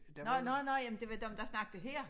Nåh nåh nåh ja men det var dem der snakket her